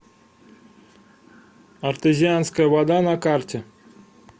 артезианская вода на карте